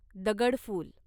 दगडफुल